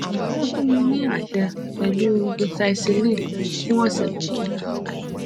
wọn fún mi ní àṣẹ pẹlú doxycycline fún ọsẹ méjì